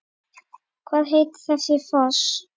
Hvað heitir þessi foss?